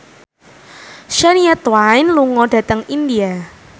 Shania Twain lunga dhateng India